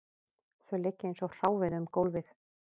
Þau liggja eins og hráviði um gólfið